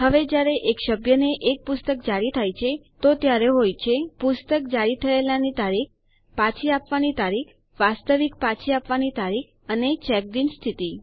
હવે જયારે એક સભ્યને એક પુસ્તક જારી થાય છે તો ત્યારે હોય છે પુસ્તક જારી થયેલાની તારીખ પાછી આપવાની તારીખ વાસ્તવિક પાછી આપવાની તારીખ અને ચેક્ડ ઇન સ્થિતિ